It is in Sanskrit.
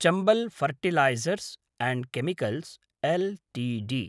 Chambal fertilisers and chemicals Ltd